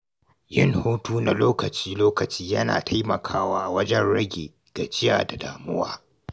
Yin hutu na lokaci-lokaci yana taimakawa wajen rage gajiya da damuwa.